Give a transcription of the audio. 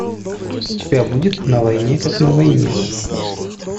у тебя будет на войне как на войне